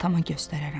Atama göstərərəm.